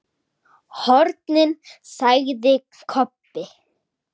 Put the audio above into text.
HORNIN, sagði Kobbi.